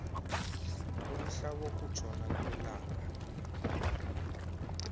umhla wokutshona kwelanga